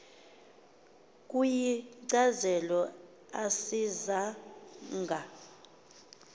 ukuyichaza asiza nga